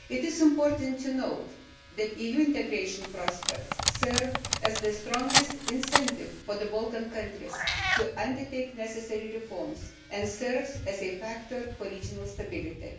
It is important to note that EU integration prospects serve as the strongest incentive for the Balkan countries to undertake necessary reforms and also as a factor for regional stability.